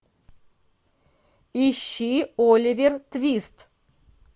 ищи оливер твист